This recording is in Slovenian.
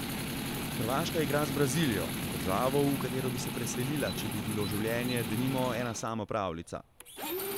Hrvaška igra z Brazilijo, z državo, v katero bi se preselila, če bi bilo življenje, denimo, ena sama pravljica.